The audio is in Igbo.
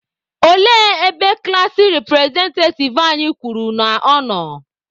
Olee ebe klassi repụrezentativ anyị kwuru na ọ nọ?